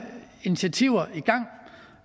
initiativer og